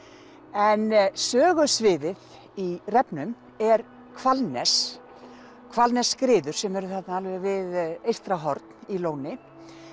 en sögusviðið í refnum er Hvalnes Hvalnesskriður sem eru þarna alveg við Eystrahorn í Lóni